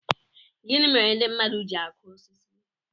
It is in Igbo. Gịnị mere ndị mmadụ ji akụ osisi